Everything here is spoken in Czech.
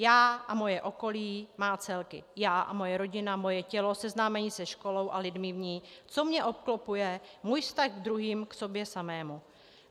Já a moje okolí má celky: já a moje rodina, moje tělo, seznámení se školou a lidmi v ní, co mě obklopuje, můj vztah k druhým, k sobě samému.